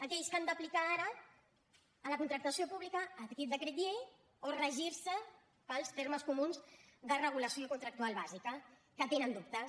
aquells que han d’aplicar ara a la contractació pública aquest decret llei o regirse pels termes comuns de regulació contractual bàsica que tenen dubtes